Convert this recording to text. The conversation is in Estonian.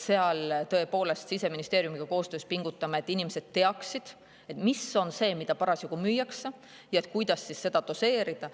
Me tõepoolest Siseministeeriumiga koostöös pingutame, et inimesed teaksid, mis asi see on, mida parasjagu müüakse, ja kuidas seda doseerida.